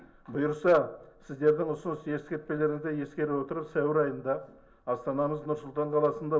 бұйырса сіздердің ұсыныс ескертпелеріңізді ескере отырып сәуір айында астанамыз нұр сұлтан қаласында